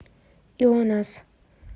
ионас